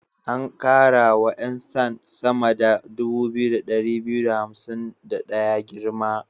An ƙara wa 'yan sand sama 2251 girma.